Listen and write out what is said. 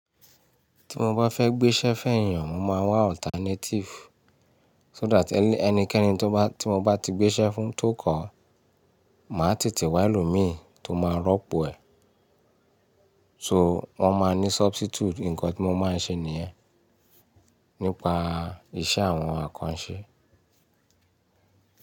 Tí mo bá fẹ́ gbéṣẹ́ fẹ́ èèyàn, mo máa wá alternative so that ẹnikẹ́ni tí mo bá ti gbéṣẹ́ fún tó kọ̀ máa tètè wá ẹlòmíì tó máa rọ́pò ẹ̀. So wọ́n máa ní substitute nǹkan tí mo máa ń ṣe nìyẹn nípa iṣẹ́ àwọn àkànṣe.